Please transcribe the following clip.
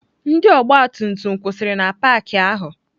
Ndị ọgbatumtum kwụsịrị na paakị ahụ.